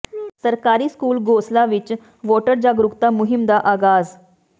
ਸਰਕਾਰੀ ਸਕੂਲ ਗੋਸਲਾ ਵਿੱਚ ਵੋਟਰ ਜਾਗਰੂਕਤਾ ਮੁਹਿੰਮ ਦਾ ਆਗਾਜ਼